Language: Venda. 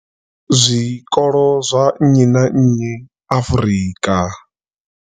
Zwikolo zwa nnyi na nnyi Afrika.